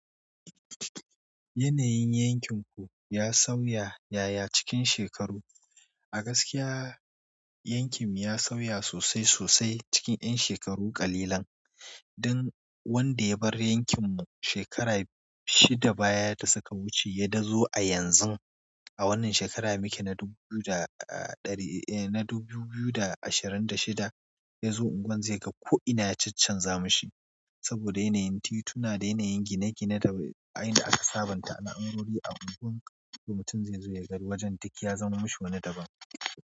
Yanayin yankinku ya sauya, yaya cikinsa yake? A gaskiya yankin mu ya sauya sosai sosai cikin 'yan shekaru ƙalilan. Dan wanda ya bar yankin mu shekara shida baya da suka wuce idan ya dazo a yanzu, a wannan shekara muke ta dubu biyu da ɗari, eh na dubu biyu da ashirin da shida, yazo unguwar zai ga ko ina ya canza mashi. Saboda yanayin tituna da yanayin gine-gine ta a inda aka sabonta na unguwanni a unguwar. Mutum zai zo ya ga wajen duk ya zaman wani daban.